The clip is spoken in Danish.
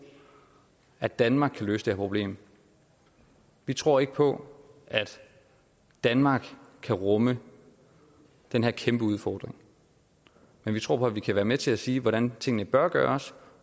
at danmark kan løse det her problem vi tror ikke på at danmark kan rumme den her kæmpe udfordring men vi tror på at man kan være med til at sige hvordan tingene bør gøres